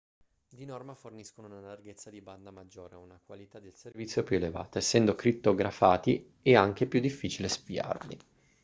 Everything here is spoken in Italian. di norma forniscono una larghezza di banda maggiore e una qualità del servizio più elevata essendo crittografati è anche più difficile spiarli